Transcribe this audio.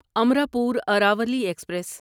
Amrapur Aravali express